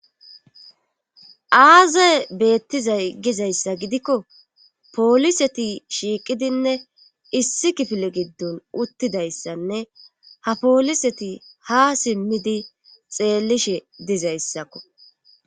Aazay beettizay gizayssa gidikko pooliseti shiiqidinne issi kifile giddon uttidayssanne ha pooliseti ha simmidi xeellishe dizayssakko